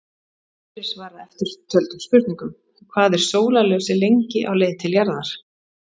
Hér er svarað eftirtöldum spurningum: Hvað er sólarljósið lengi á leið til jarðar?